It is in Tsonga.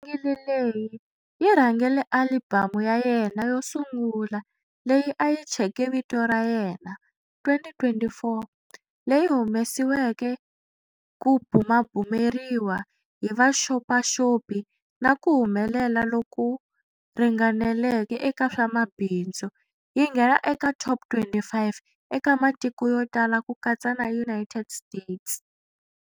Singili leyi yi rhangele alibamu ya yena yo sungula leyi a yi thyeke vito ra yena, 2024, leyi humesiweke ku bumabumeriwa hi vaxopaxopi na ku humelela loku ringaneleke eka swa mabindzu, yi nghena eka"top 25"eka matiko yo tala ku katsa na United States.